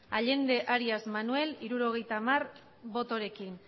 allende arias manuel hirurogeita hamar botorekin